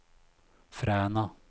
Fræna